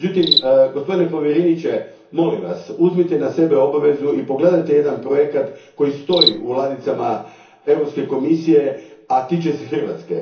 Međutim, gospodine povjereniče, molim Vas, uzmite na sebe obvezu i pogledajte jedan projekt koji stoji u ladicama Europske komisije, a tiče se Hrvatske.